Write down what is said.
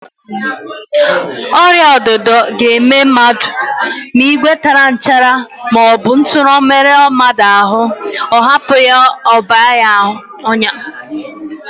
Ọrịaọdịdọ ga-eme mmadụ ma ìgwè tara nchara maọbụ ntu merụọ mmadụ ahụ, ọ hapụ ya ka ọ baa ọnyá